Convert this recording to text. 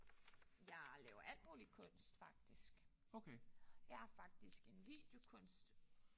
Jeg laver alt muligt kunst faktisk. Jeg er faktisk en videokunstner